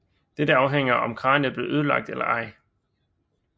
Dette afhænger af om kraniet blev ødelagt eller ej